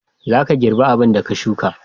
Za ka girba abin da ka sukka.